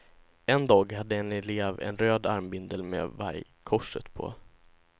En dag hade en elev en röd armbindel med vargkorset på.